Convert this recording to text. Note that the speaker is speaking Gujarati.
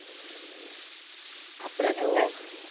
આપળે તો